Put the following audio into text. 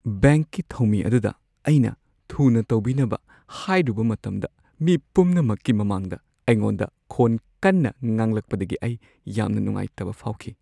ꯕꯦꯡꯛꯀꯤ ꯊꯧꯃꯤ ꯑꯗꯨꯗ ꯑꯩꯅ ꯊꯨꯅ ꯇꯧꯕꯤꯅꯕ ꯍꯥꯏꯔꯨꯕ ꯃꯇꯝꯗ ꯃꯤ ꯄꯨꯝꯅꯃꯛꯀꯤ ꯃꯃꯥꯡꯗ ꯑꯩꯉꯣꯟꯗ ꯈꯣꯟ ꯀꯟꯅ ꯉꯥꯡꯂꯛꯄꯗꯒꯤ ꯑꯩ ꯌꯥꯝꯅ ꯅꯨꯡꯉꯥꯏꯇꯕ ꯐꯥꯎꯈꯤ ꯫